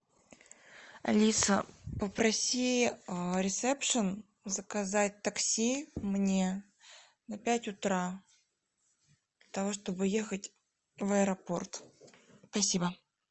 алиса попроси ресепшн заказать такси мне на пять утра для того чтобы ехать в аэропорт спасибо